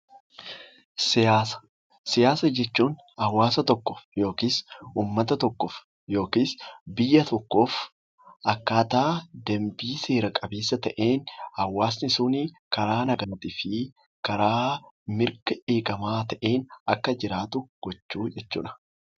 Siyaasa jechuun hawaasa tokko yookiin uummata tokkoof yookiin biyya tokkoof akkaataa dambii seera qabeessa ta'een hawaasni sun karaa nagaa fi karaa mirga eegamaa ta'een Akka jiraatu gochuu jechuudha